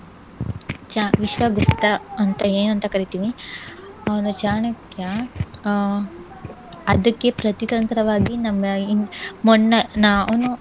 ವಿಶ್ವಗುಪ್ತ ಅಂತ ಏನಂತ ಕರೀತಿವಿ ಅವ್ನು ಚಾಣಕ್ಯ ಆಹ್ ಅದಕ್ಕೆ ಪ್ರತಿತಂತ್ರವಾಗಿ ನಮ್ಮ ಮೊನ್ನೆ ನಾನು